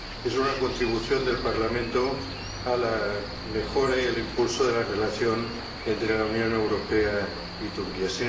Es una contribución del Parlamento a la mejora y al impulso de la relación entre la Unión Europea y Turquía.